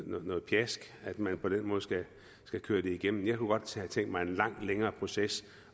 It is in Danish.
noget pjask at man skal køre det igennem jeg kunne godt have tænkt mig en langt længere proces